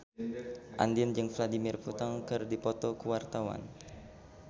Andien jeung Vladimir Putin keur dipoto ku wartawan